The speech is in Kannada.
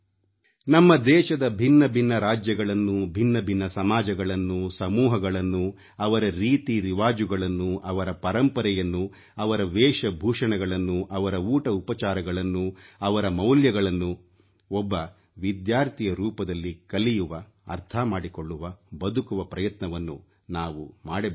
ನಮ್ಮ ದೇಶದ ಭಿನ್ನಭಿನ್ನ ರಾಜ್ಯಗಳನ್ನೂ ಭಿನ್ನಭಿನ್ನ ಸಮಾಜಗಳನ್ನೂ ಸಮೂಹಗಳನ್ನೂ ಅವರ ರೀತಿರಿವಾಜುಗಳನ್ನೂ ಅವರ ಪರಂಪರೆಯನ್ನೂ ಅವರ ವೇಷ ಭೂಷಣಗಳನ್ನೂ ಅವರ ಊಟಉಪಚಾರಗಳನ್ನೂ ಅವರ ಮೌಲ್ಯಗಳನ್ನೂ ಒಬ್ಬ ವಿದ್ಯಾರ್ಥಿಯ ರೂಪದಲ್ಲಿ ಕಲಿಯುವ ಅರ್ಥಮಾಡಿಕೊಳ್ಳುವ ಬದುಕುವ ಪ್ರಯತ್ನವನ್ನು ನಾವು ಮಾಡಬಲ್ಲೆವೇ